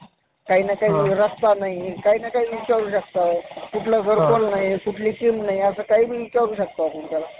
मला देवावर खूप श्रद्धा आहे, त्यामुळे मी कुठे~ कुठेही देवाच्या मंदिरामध्ये जात असते आणि मी उपवासही करत असते कमी जास्त प्रमाणामध्ये उपवासही करते किंवा